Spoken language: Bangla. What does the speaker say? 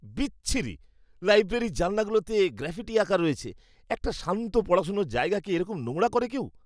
বিচ্ছিরি! লাইব্রেরীর জানলাগুলোতে গ্রাফিটি আঁকা রয়েছে। একটা শান্ত পড়াশোনার জায়গাকে এরকম নোংরা করে কেউ?